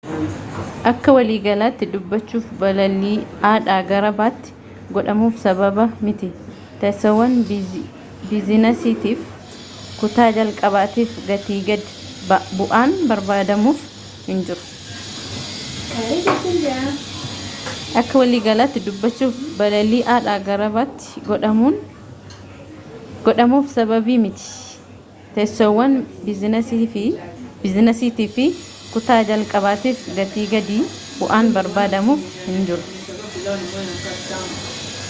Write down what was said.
akkawaliigalaatti dubbachuuf balalii a dhaa gara b tti godhamuuf sababiimti teessoowwan biizinasiitii fi kutaa-jalqabaatiif gatii gadi bu'aan barbaadamuuf hinjiru